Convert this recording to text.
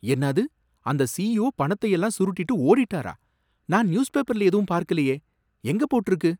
என்னாது அந்த சிஇஓ பணத்தையெல்லாம் சுருட்டிட்டு ஓடிட்டாரா நான் நியூஸ்பேப்பர்ல எதுவும் பார்க்கலயே. எங்க போட்டிருக்கு